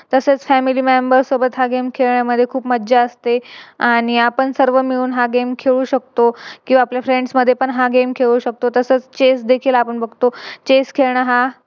तसेच Family member सोबत हा Game खेळण्यामध्ये खूप मज्जा असते आणि आपण सर्व मिळून हा Game खेळू शकतो किव्हा आपल्या Friends मध्ये पण हा Game खेळू शकतो. तसेच Chess देखील आपण बघतो. Chess खेळणं हा